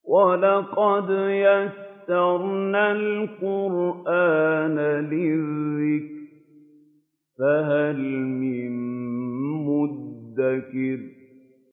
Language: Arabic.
وَلَقَدْ يَسَّرْنَا الْقُرْآنَ لِلذِّكْرِ فَهَلْ مِن مُّدَّكِرٍ